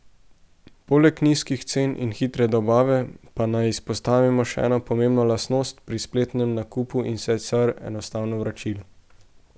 Poleg nizkih cen in hitre dobave, pa naj izpostavimo še eno pomembno lastnost pri spletnem nakupu in sicer enostavno vračilo.